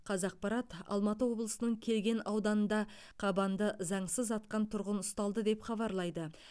қазақпарат алматы облысының кеген ауданында қабанды заңсыз атқан тұрғын ұсталды деп хабарлайды